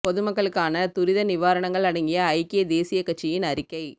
பொது மக்களுக்கான துரித நிவாரணங்கள் அடங்கிய ஐக்கிய தேசியக் கட்சியின் அறிக்கை